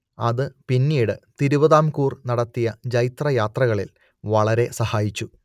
അത് പിന്നീട് തിരുവിതാംകൂർ നടത്തിയ ജൈത്രയാത്രകളിൽ വളരെ സഹായിച്ചു